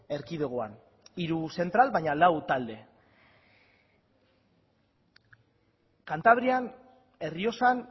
erkidegoan hiru zentral baina lau talde kantabrian errioxan